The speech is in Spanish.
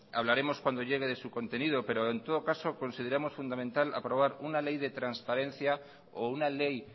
hablaremos cuando llegue su contendido pero en todo caso consideramos fundamental aprobar una ley de transparencia o una ley